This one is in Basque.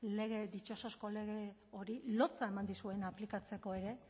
ditxosozko lege hori lotsa eman dizuen aplikatzeko ere